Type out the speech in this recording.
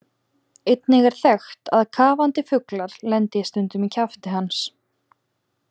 Einnig er þekkt að kafandi fuglar lendi stundum í kjafti hans.